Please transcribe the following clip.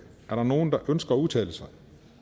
er der nogen der ønsker at udtale sig